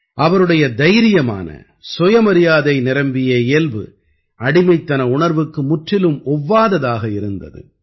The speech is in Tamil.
அவருடைய தைரியமான சுயமரியாதை நிரம்பிய இயல்பு அடிமைத்தன உணர்வுக்கு முற்றிலும் ஒவ்வாததாக இருந்தது